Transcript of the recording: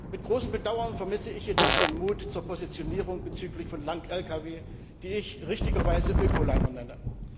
Mit großem Bedauern vermisse ich jedoch den Mut zur Positionierung bezüglich Lang Lkws, die ich richtigerweise Öko Liner nenne.